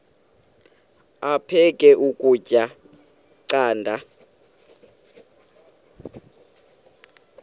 aphek ukutya canda